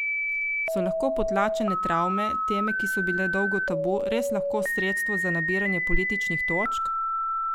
So lahko potlačene travme, teme, ki so bile dolgo tabu, res lahko sredstvo za nabiranje političnih točk?